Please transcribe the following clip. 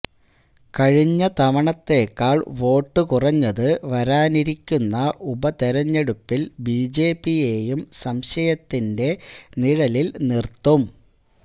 കഴിഞ്ഞ തവണത്തേക്കാൾ വോട്ടു കുറഞ്ഞത് വരാനിരിക്കുന്ന ഉപതിരഞ്ഞെടുപ്പിൽ ബിജെപിയെയും സംശയത്തിന്റെ നിഴലിൽ നിർത്തും